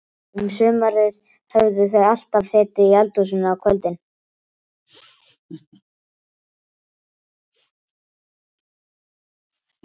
Um sumarið höfðu þau alltaf setið í eldhúsinu á kvöldin.